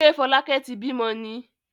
Ṣé Fọlákẹ́ ti bímọ ni?